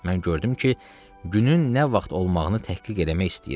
Mən gördüm ki, günün nə vaxt olmağını təhqiq eləmək istəyir.